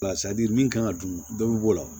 min kan ka dun dɔ bɛ b'o la